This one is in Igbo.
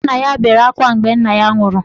Nwanna ya bere akwa mgbe nna ya nwụrụ.